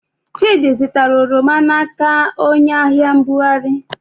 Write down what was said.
Chịdị zụtara oroma n'aka onyeahịambugharị.